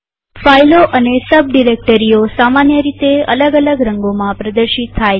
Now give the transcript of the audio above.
ફાઈલો અને સબ ડિરેક્ટરીઓ સામાન્ય રીતે અલગ અલગ રંગોમાં પ્રદર્શિત થાય છે